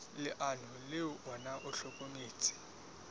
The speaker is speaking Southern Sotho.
leano le ona o hlokometse